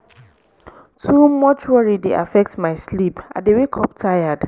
too much worry dey affect my sleep i dey wake up tired